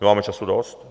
My máme času dost.